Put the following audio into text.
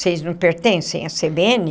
Vocês não pertencem à cê bê ene?